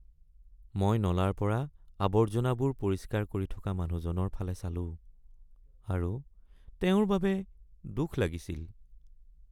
মই নলাৰ পৰা আৱৰ্জনাবোৰ পৰিষ্কাৰ কৰি মানুহজনৰ ফালে চালোঁ আৰু তেওঁৰ বাবে দুখ লাগিছিল।